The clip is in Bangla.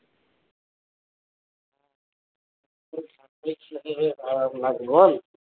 বল